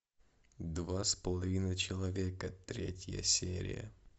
два с половиной человека третья серия